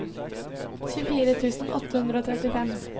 tjuefire tusen åtte hundre og trettifem